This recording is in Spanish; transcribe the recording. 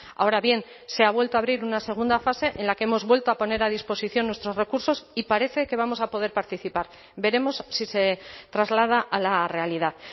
ahora bien se ha vuelto a abrir una segunda fase en la que hemos vuelto a poner a disposición nuestros recursos y parece que vamos a poder participar veremos si se traslada a la realidad